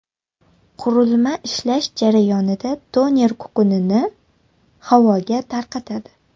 Qurilma ishlash jarayonida toner kukunini havoga tarqatadi.